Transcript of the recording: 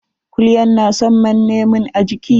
Kulyan na son manne mun a jiiki.